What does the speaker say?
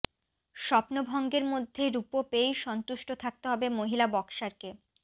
স্বপ্নভঙ্গের মধ্যে রূপো পেয়েই সন্তুষ্ট থাকতে হবে মহিলা বক্সারকে